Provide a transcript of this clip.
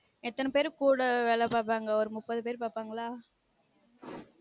எத்தன பேர் கூட வேல பாக்குறாங்க ஒரு முப்பது பேர் பாப்பாங்களா